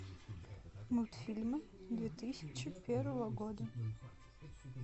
мультфильмы две тысячи первого года